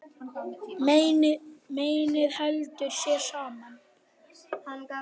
Mennið heldur sér saman.